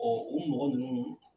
u mɔgɔ ninnu